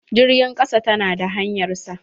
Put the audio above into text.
Jirgin ƙasa ta na da hanyar sa.